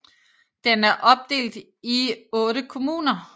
Den er opdelt i 8 kommuner